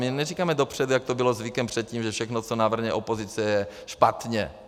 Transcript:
My neříkáme dopředu, jak to bylo zvykem předtím, že všechno, co navrhne opozice, je špatně.